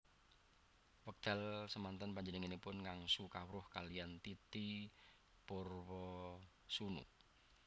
Wekdal semanten panjenenganipun ngangsu kawruh kaliyan Titi Purwosoenoe